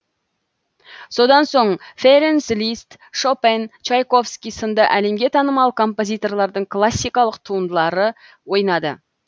содан соң ференц лист шопен чайковский сынды әлемге танымал композиторлардың классикалық туындылары ойнады